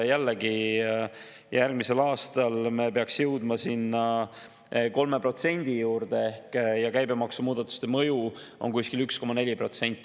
Järgmisel aastal peaksime jõudma 3% juurde ja käibemaksumuudatuste mõju on kuskil 1,4%.